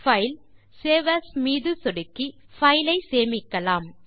பைல்க்ட்க்ட் save as மீது சொடுக்கி கோப்பை சேமிக்கலாம்